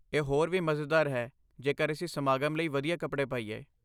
ਇਹ ਹੋਰ ਵੀ ਮਜ਼ੇਦਾਰ ਹੈ ਜੇਕਰ ਅਸੀਂ ਸਮਾਗਮ ਲਈ ਵਧੀਆ ਕੱਪੜੇ ਪਾਈਏ।